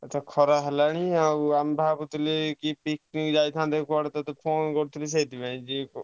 ଆଛା ଖରା ହେଲାଣି ଆଉ ଆମେ ଭାବୁଥିଲୁ କି picnic ଯାଇଥାନ୍ତେ କୁଆଡେ ଗୋଟେ ସେଇଥିପାଇଁ ତତେ phone କରିଥିଲି ସେଇଥିପାଇଁ।